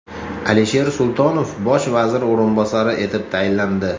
Alisher Sultonov bosh vazir o‘rinbosari etib tayinlandi.